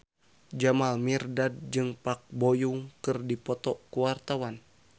Jamal Mirdad jeung Park Bo Yung keur dipoto ku wartawan